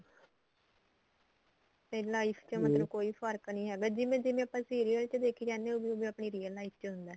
ਤੇ life ਚ ਮਤਲਬ ਕੋਈ ਫਰਕ ਨੀ ਹੈਗਾ ਜਿਵੇਂ ਜਿਵੇਂ ਆਪਾਂ serial ਚ ਦੇਖੀ ਜਾਨੇ ਆ ਉਵੇਂ ਉਵੇਂ ਆਪਣੀ real life ਚ ਹੁੰਦਾ